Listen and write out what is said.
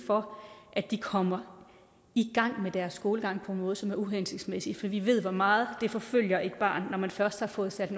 for at de kommer i gang med deres skolegang på en måde som er uhensigtsmæssig fordi vi ved hvor meget det forfølger et barn når det først har fået sat